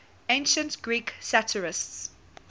ancient greek satirists